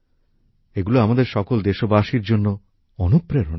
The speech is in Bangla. এইগুলো আমাদের সকল দেশবাসীর জন্য অনুপ্রেরণা